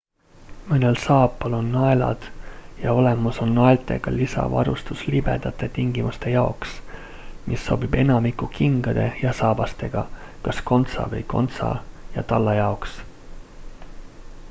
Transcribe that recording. mõnel saapal on naelad ja olemas on naeltega lisavarustus libedate tingimuste jaoks mis sobib enamiku kingade ja saabastega kas kontsa või kontsa ja talla jaoks